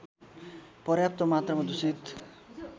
पर्याप्त मात्रमा दूषित